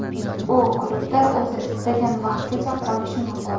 U klubda o‘zi istagan vaqtgacha qolishi mumkin.